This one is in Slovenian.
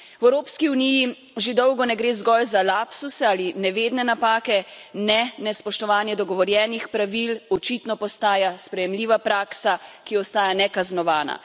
V Evropski uniji že dolgo ne gre zgolj za lapsuse ali nevedne napake ne, nespoštovanje dogovorjenih pravil očitno postaja sprejemljiva praksa, ki ostaja nekaznovana.